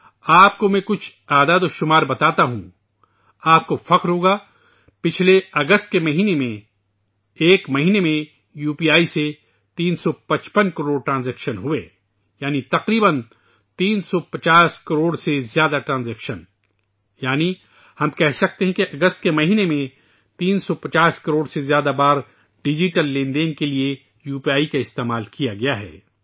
میں آپ کو ایک اعداد و شمار بتاتا ہوں، آپ کو فخر ہوگا ، گزشتہ اگست کے مہینے میں یو پی آئی کے ذریعہ ایک ماہ میں 355 کروڑ ٹرانزیکشن ہوئے ، یعنی تقریبا 350 کروڑ سے زائد ٹرانزیکشنز ، یعنی ہم کہہ سکتے ہیں کہ اگست کے مہینے میں 350 کروڑ سے زائد مرتبہ ڈیجیٹل لین دین کے لیے یو پی آئی کا استعمال کیا گیا ہے